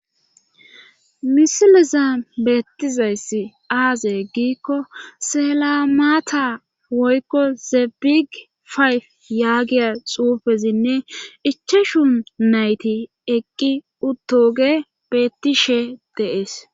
Misileza beettizayss aaze egiikko selamaata woykko zebig fayf yaagiya xuufezinne ichashu nayti eqqi uttoge beettishe deees